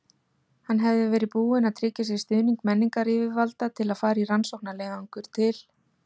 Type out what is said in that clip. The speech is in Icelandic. Hann hefði verið búinn að tryggja sér stuðning menningaryfirvalda til að fara í rannsóknarleiðangur til